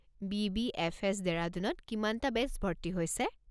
BBFS., ডেৰাডুনত কিমানটা batch ভৰ্তি হৈছে?